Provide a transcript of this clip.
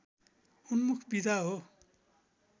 उन्मुख विधा हो